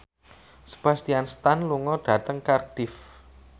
Sebastian Stan lunga dhateng Cardiff